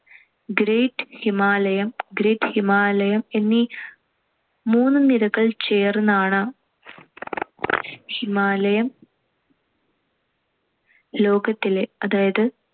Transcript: great ഹിമാലയം~ great ഹിമാലയം എന്നീ മൂന്ന് നിരകൾ ചേർന്നാണ് ഹിമാലയം. ലോകത്തിലെ അതായത്